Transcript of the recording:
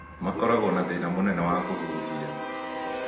Makoragwo na thĩna mũnene wa kũhuhia.